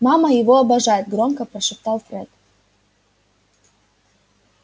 мама его обожает громко прошептал фред